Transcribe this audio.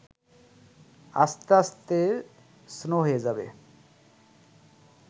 আস্তে আস্তে স্লো হয়ে যাবে